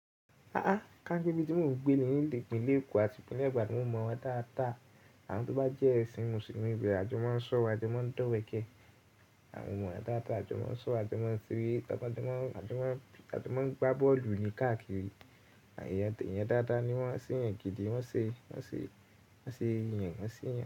A ka pe ibi ti mo n gbe ni, ni ipinle Eko ati ipinle ibadan, mo mọ wọn dáadáa. Awon to ba jẹ ẹsin Musulumi ibe, a jo ma n sọ̀rọ̀, a jo ma n dọ̀wẹ̀kẹ̀. Mo mọ wọn dáadáa jọ, a jọ ma n sọ̀rọ̀, a jọ ma n ṣeré, taba jọ mọn, a jọ ma n gba bọ́ọ̀lù ni káàkiri. Eyan dáadáa ni wọn ṣe yẹn gidi, wọn ṣe, wọn ṣe, wọn ṣe eyan wọn ṣe eyan.